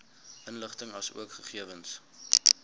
inligting asook gegewens